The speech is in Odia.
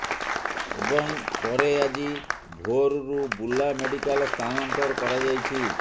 ଏବଂ ପରେ ଆଜି ଭୋରରୁ ବୁର୍ଲା ମେଡିକାଲ ସ୍ଥାନାନ୍ତର କରାଯାଇଛି